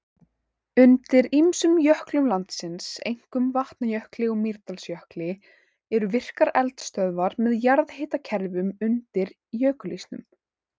Undir ýmsum jöklum landsins, einkum Vatnajökli og Mýrdalsjökli, eru virkar eldstöðvar með jarðhitakerfum undir jökulísnum.